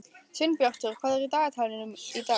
Sveinbjartur, hvað er í dagatalinu í dag?